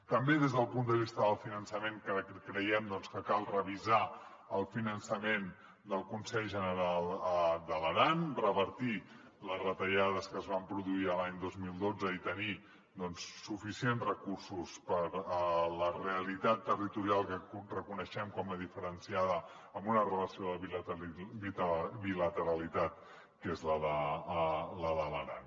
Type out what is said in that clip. també des del punt de vista del finançament creiem que cal revisar el finançament del consell general de l’aran revertir les retallades que es van produir l’any dos mil dotze i tenir doncs suficients recursos per a la realitat territorial que reconeixem com a diferenciada amb una relació de bilateralitat que és la de l’aran